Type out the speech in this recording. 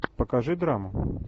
покажи драму